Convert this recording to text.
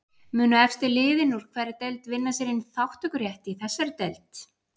Munu efstu liðin úr hverri deild vinna sér inn þátttökurétt í þessari deild?